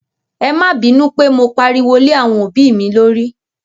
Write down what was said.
É ma binu pe mo pariwo lé àwọn òbí mi lórí.